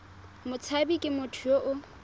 motshabi ke motho yo o